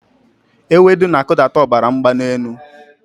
Ewedu na-akụdata ọbara mgbali elu.